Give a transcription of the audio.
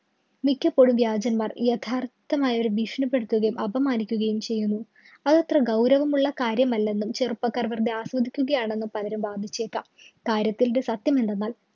മിക്കപ്പോഴും വ്യാജന്മാര്‍ യഥാര്‍ത്ഥമായവരെ ഭീഷണിപെടുത്തുകയും അപമാനിക്കുകയും ചെയ്യുന്നു. അതത്ര ഗൗരവമുള്ള കാര്യമല്ലെന്നും ചെറുപ്പക്കാര്‍ വെറുതെ ആസ്വദിക്കുകയാണെന്നും പലരും വാദിച്ചേക്കാം. കാര്യത്തില്‍ ഇത് സത്യമെന്തെന്നാല്‍